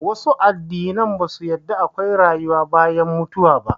Wasu addinan ba su yarda akwai rayuwa bayan mutuwa ba